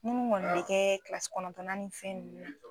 Munnu kɔni bɛ kɛ kilasi kɔnɔntɔna ni fɛn nunnu na.